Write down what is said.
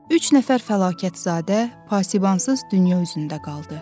Üç nəfər fəlakətzadə pasibansız dünya üzündə qaldı.